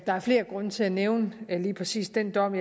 der er flere grunde til at nævne lige præcis den dom